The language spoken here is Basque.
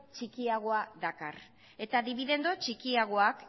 txikiagoa dakar eta dibidendu txikiagoak